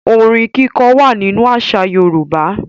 Ọrin kíkọ wà nínú àṣà Yorùbá.